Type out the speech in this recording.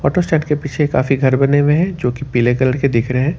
के पीछे का भी घर बने हुए हैं जो की पीले कलर के दिख रहे हैं।